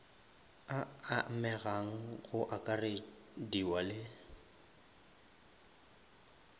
a amegang go akarediwa le